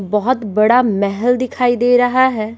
बहुत बड़ा महल दिखाई दे रहा है।